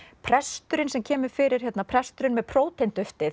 presturinn sem kemur fyrir presturinn með